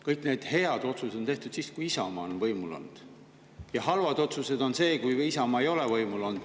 Kõik need head otsused on tehtud siis, kui Isamaa on võimul olnud, ja halvad otsused on tehtud siis, kui Isamaa ei ole võimul olnud.